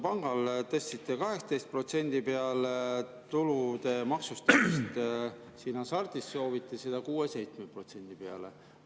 Pangal tõstsite 18% peale tulude maksustamise, hasart puhul soovite selle viia 6–7% peale.